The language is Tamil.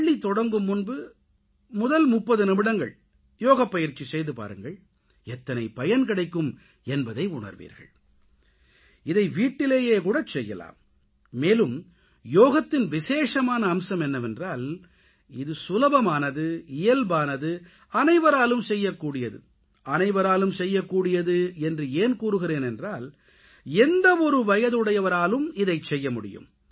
பள்ளி தொடங்கும் முன்பு முதல் 30 நிமிடங்கள் யோகப்பயிற்சி செய்து பாருங்கள் எத்தனை பயன் கிடைக்கும் என்பதை உணர்வீர்கள் இதை வீட்டிலேயே கூடச்செய்யலாம் மேலும் யோகத்தின் விசேஷமான அம்சம் என்னவென்றால் இது சுலபமானது இயல்பானது அனைவராலும் செய்யக் கூடியது அனைவராலும் செய்யக்கூடியது என்று ஏன் கூறுகிறேன் என்றால் எந்த ஒரு வயதுடையவராலும் இதைச் செய்யமுடியும்